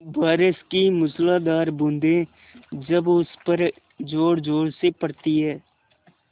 बारिश की मूसलाधार बूँदें जब उस पर ज़ोरज़ोर से पड़ती हैं